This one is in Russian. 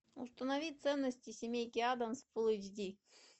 установи ценности семейки аддамс фул эйч ди